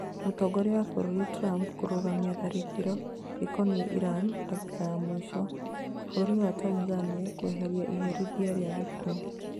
Mũtongoria wa bũrũri Trump kũrũgamia tharĩkĩro rĩkonia Iran "ndagĩka ya mũico" Bũrũri wa Tanzania kweheria iherithia rĩa gĩkuo